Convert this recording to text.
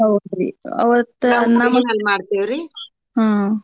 ಹೌದ್ರಿ ಅವತ್ತ್ ಹ್ಮ್‌.